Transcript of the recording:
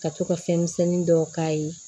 Ka to ka fɛn misɛnnin dɔw k'a ye